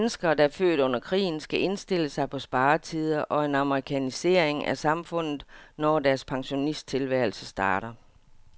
Danskere, der er født under krigen, skal indstille sig på sparetider og en amerikanisering af samfundet, når deres pensionisttilværelse starter.